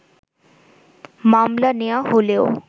মামলা নেয়া হলেও